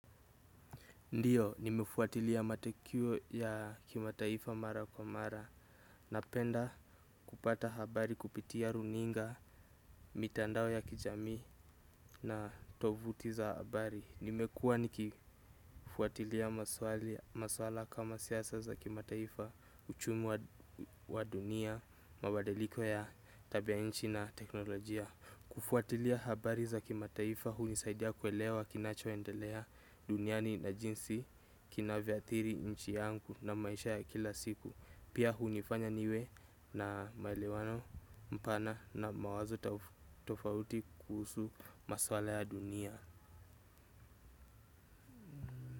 Ndiyo, nimefuatilia matokeo ya kimataifa mara kwa mara, napenda kupata habari kupitia runinga, mitandao ya kijami na tovuti za habari. Nimekuwa nikifuatilia maswala kama siasa za kimataifa, uchumi wa dunia, mabadiliko ya tabia nchi na teknolojia. Kufuatilia habari za kimataifa hunisaidia kuelewa kinachoendelea duniani na jinsi kinavyoathiri nchi yangu na maisha ya kila siku. Pia hunifanya niwe na maelewano mpana na mawazo tofauti kuhusu maswala ya dunia.